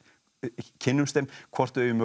kynnumst þeim hvort þau eigi mögulega